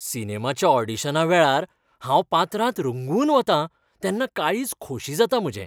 सिनेमाच्या ऑडीशनावेळार हांव पात्रांत रंगून वतां तेन्ना काळीज खोशी जाता म्हजें.